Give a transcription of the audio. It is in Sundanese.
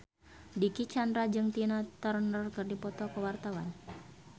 Dicky Chandra jeung Tina Turner keur dipoto ku wartawan